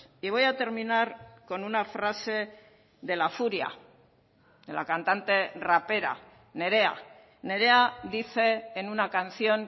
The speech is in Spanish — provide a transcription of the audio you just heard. y voy a terminar con una frase de la furia de la cantante rapera nerea nerea dice en una canción